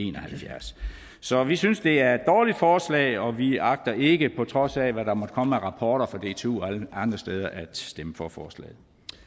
en og halvfjerds så vi synes det er et dårligt forslag og vi agter ikke på trods hvad der måtte komme af rapporter fra dtu og andre steder at stemme for forslaget